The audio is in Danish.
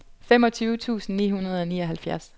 femogtyve tusind ni hundrede og nioghalvfjerds